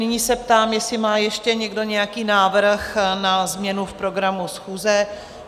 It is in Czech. Nyní se ptám, jestli má ještě někdo nějaký návrh na změnu v programu schůze?